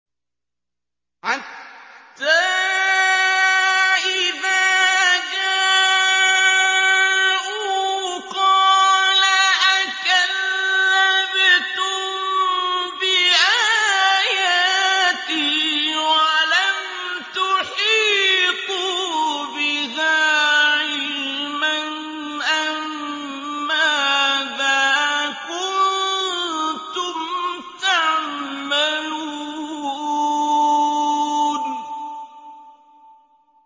حَتَّىٰ إِذَا جَاءُوا قَالَ أَكَذَّبْتُم بِآيَاتِي وَلَمْ تُحِيطُوا بِهَا عِلْمًا أَمَّاذَا كُنتُمْ تَعْمَلُونَ